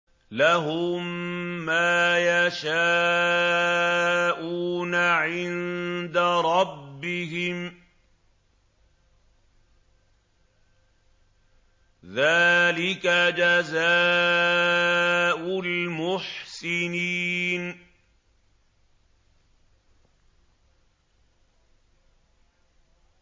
لَهُم مَّا يَشَاءُونَ عِندَ رَبِّهِمْ ۚ ذَٰلِكَ جَزَاءُ الْمُحْسِنِينَ